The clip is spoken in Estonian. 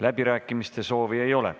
Läbirääkimiste soovi ei ole.